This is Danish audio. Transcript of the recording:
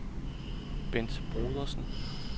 Bent Brodersen